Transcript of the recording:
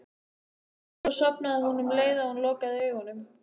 Svo sofnaði hún um leið og hún lokaði augunum.